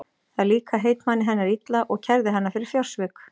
Það líkaði heitmanni hennar illa og kærði hana fyrir fjársvik.